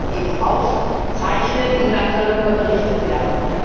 Die wollen wir jetzt eben aufzeichnen, und dann soll darüber berichtet werden.